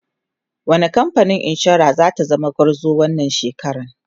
wani kamfanin insura zata zama gwarzo wannan shekaran?